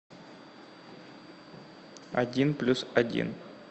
один плюс один